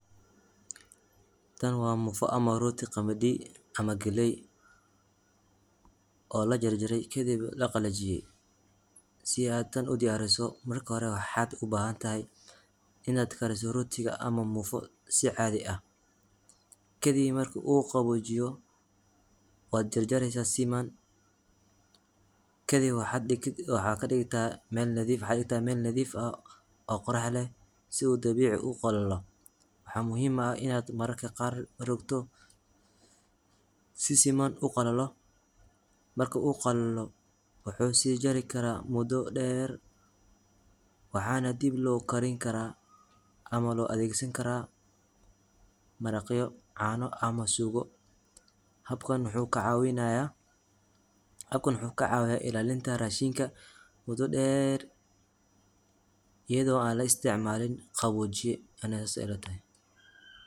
Tan wa mufo amah roti qamadi amah galey, oo lajarjaray kadib laqalajiyay, si ad tan udiyariso marka horee waxad ubahantahay inad kariso rotiga ama mufo si cadhi ahh, kadib maraka uu qabojiyo wad jarjareysa si siman kadib waxa digta mel nadhif ahh oo qorax leh si udabici uqalalo, waxa muhuim ahh inad mararka qar rogto sisiman uqalalo marka uu qalalo wuxu sijari kara wado der, waxana dib lokarin kara ama loadhegsan kara maraqyo, cano amah sugo, habkaan wuxu kacawinaya ilalinta rashinka mudo der ayadho an laisticmalin qabojiyo, ani sas ey ilatahay.